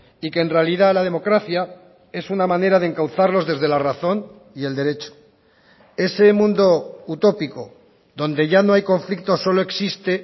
y que en realidad la democracia es una manera de encauzarlos desde la razón y el derecho ese mundo utópico donde ya no hay conflictos solo existe